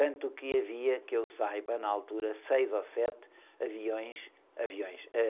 Tanto que havia, que eu saiba, na altura, seis ou sete aviões, aviões, eh...